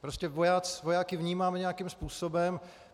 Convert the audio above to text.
Prostě vojáky vnímáme nějakým způsobem.